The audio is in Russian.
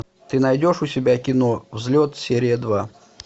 ты найдешь у себя кино взлет серия два